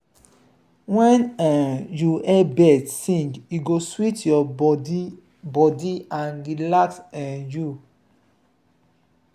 when um you hear birds sing e go sweet your body body and relax um you.